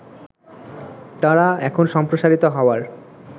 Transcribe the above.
তারা এখন সম্প্রসারিত হওয়ার